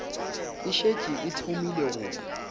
e šetše e thomile go